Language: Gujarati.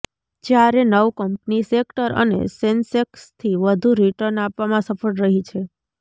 જ્યારે નવ કંપની સેક્ટર અને સેન્સેક્સથી વધુ રિટર્ન આપવામાં સફળ રહી છે